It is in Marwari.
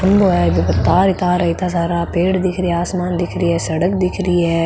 खम्भों है जेका तार ही तार है इत्ता सारा पेड़ दिख रा आसमान दिख रो है सड़क दिख री है।